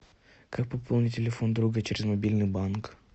как пополнить телефон друга через мобильный банк